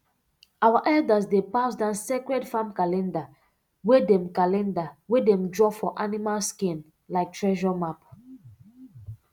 our elders dey pass down sacred farm calendar wey dem calendar wey dem draw for animal skin like treasure map